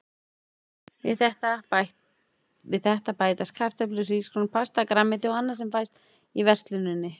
Við þetta bætast kartöflur, hrísgrjón, pasta, grænmeti og annað sem fæst í versluninni.